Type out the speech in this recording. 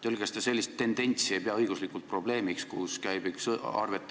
Öelge, kas te sellist tendentsi ei pea õiguslikult probleemiks?